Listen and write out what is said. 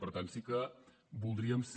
per tant sí que voldríem ser